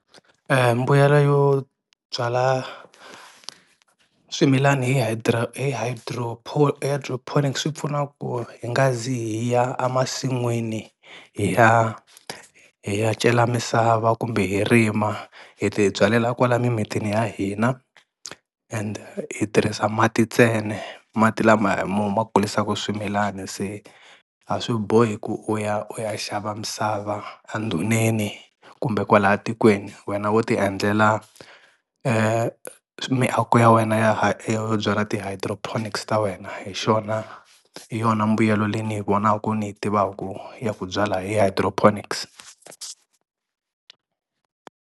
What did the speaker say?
Mbuyelo yo byala swimilani hi hi hi hydroponics swi pfuna ku hi nga zi hi ya a masin'wini hi ya hi ya cela misava kumbe hi rima hi ti byalela kwala mimitini ya hina, ende hi tirhisa mati ntsena mati lama hi mo ma kulisaku swimilani se a swi bohi ku u ya u ya xava misava endhuneni kumbe kwala tikweni wena wo ti endlela miako ya wena yo byala ti-hydroponics ta wena hi xona hi yona mbuyelo leyi ni yi vonaku ni yi tivaku ya ku byala hydroponics.